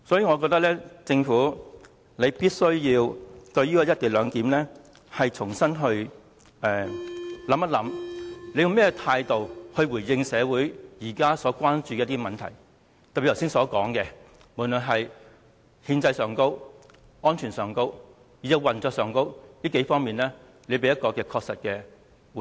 我認為政府必須重新檢視"一地兩檢"，看看用甚麼態度來回應社會現時關注的問題，以及在剛才所說的幾方面，特別是在憲政上、安全上、運作上等，也給予確實的回應。